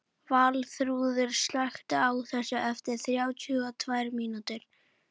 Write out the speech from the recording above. Valþrúður, slökktu á þessu eftir þrjátíu og tvær mínútur.